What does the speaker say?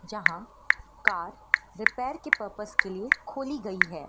जहां car repair की purpose के लिए खोली गई है।